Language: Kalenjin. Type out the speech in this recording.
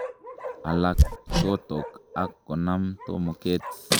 Alak kochokto ak konam tomoket.